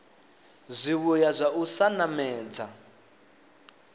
zwivhuya zwa u sa namedza